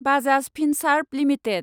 Bajaj Finserv limited